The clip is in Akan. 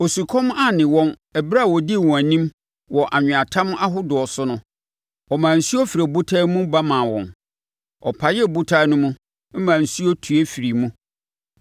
Osukɔm anne wɔn ɛberɛ a ɔdii wɔn anim, wɔ anweatam ahodoɔ so no, ɔmaa nsuo firi ɔbotan mu ba maa wɔn; ɔpaee ɔbotan no mu, maa nsuo tue firii mu.